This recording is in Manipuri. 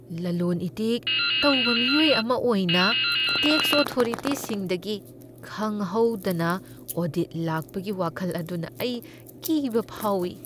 ꯂꯂꯣꯟ ꯏꯇꯤꯛ ꯇꯧꯕ ꯃꯤꯑꯣꯏ ꯑꯃ ꯑꯣꯏꯅ, ꯇꯦꯛꯁ ꯑꯣꯊꯣꯔꯤꯇꯤꯁꯤꯡꯗꯒꯤ ꯈꯪꯍꯧꯗꯅ ꯑꯣꯗꯤꯠ ꯂꯥꯛꯄꯒꯤ ꯋꯥꯈꯜ ꯑꯗꯨꯅ ꯑꯩ ꯀꯤꯕ ꯐꯥꯎꯏ ꯫